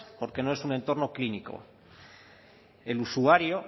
porque no es un entorno clínico el usuario